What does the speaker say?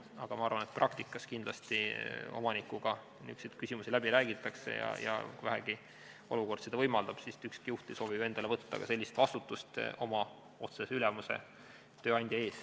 Aga ma arvan, et praktikas kindlasti omanikuga neid küsimusi läbi räägitakse, kui vähegi olukord seda võimaldab, sest ükski juht ei soovi ju võtta endale sellist vastutust oma otsese ülemuse ja tööandja ees.